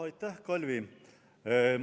Aitäh, Kalvi!